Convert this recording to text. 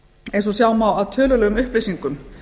eins og sjá má af tölulegum upplýsingum